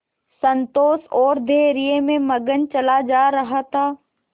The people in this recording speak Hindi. संतोष और धैर्य में मगन चला जा रहा था